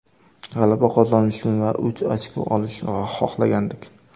G‘alaba qozonishni va uch ochko olishni xohlagandik.